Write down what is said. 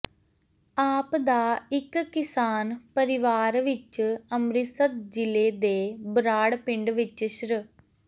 ਆਪ ਦਾ ਇੱਕ ਕਿਸਾਨ ਪਰਿਵਾਰ ਵਿਚ ਅੰਮ੍ਰਿਤਸਰ ਜਿਲ੍ਹੇ ਦੇ ਬਰਾੜ ਪਿੰਡ ਵਿਚ ਸ੍ਰ